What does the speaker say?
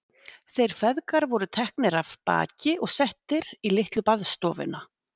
Þeir feðgar voru teknir af baki og settir í litlu baðstofuna.